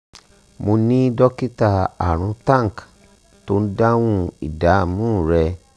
mo ni dokita arun tank tó ń dáhùn ìdààmú rẹ